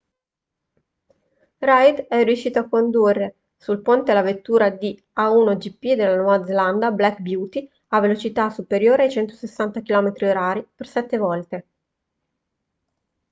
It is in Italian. reid è riuscito a condurre sul ponte la vettura di a1gp della nuova zelanda black beauty a velocità superiori ai 160 km/h per sette volte